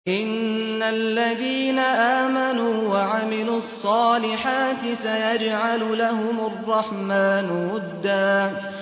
إِنَّ الَّذِينَ آمَنُوا وَعَمِلُوا الصَّالِحَاتِ سَيَجْعَلُ لَهُمُ الرَّحْمَٰنُ وُدًّا